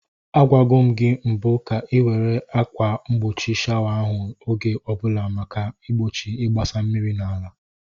Agwago m gị mbụ ka ị were akwa mgbochi shawa ahụ oge ọbụla maka igbochi igbasa mmiri n'ala.